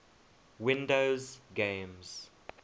windows games